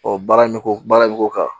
Ɔ baara bɛ k'o baara bɛ k'o kan